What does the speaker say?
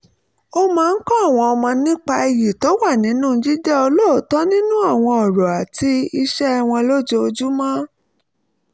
ó máa ń kọ́ àwọn ọmọ nípa iyì tó wà ninú jíjẹ́ olóòótọ́ nínú àwọn ọ̀rọ̀ àti ìṣe wọn lójoojúmọ́